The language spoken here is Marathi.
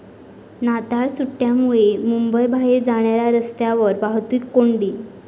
नाताळ सुट्ट्यांमुळे मुंबईबाहेर जाणाऱ्या रस्त्यांवर वाहतूक कोंडी